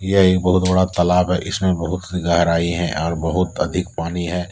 यह एक बहोत बड़ा तालाब है इसमें बहोत से गहराई है और बहोत अधिक पानी है।